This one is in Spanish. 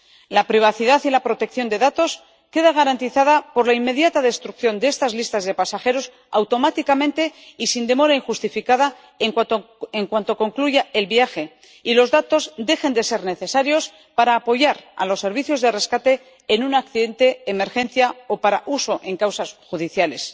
La privacidad y la protección de datos queda garantizada por la inmediata destrucción de estas listas de pasajeros, automáticamente y sin demora injustificada, en cuanto concluya el viaje y los datos dejen de ser necesarios para apoyar a los servicios de rescate en un accidente, emergencia o para su uso en causas judiciales.